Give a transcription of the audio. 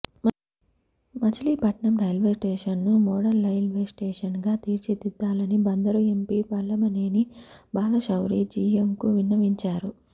మచిలీపట్నం రైల్వేస్టేషన్ను మోడల్రైల్వేస్టేషన్గా తీర్చిదిద్దాలని బందరు ఎంపీ వల్లభనేని బాలశౌరి జీఎంకు విన్నవించారు